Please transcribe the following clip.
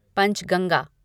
Panchganga